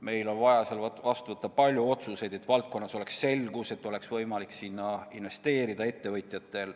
Meil on vaja vastu võtta palju otsuseid, et valdkonnas oleks selgus, et ettevõtjatel oleks võimalik sinna investeerida.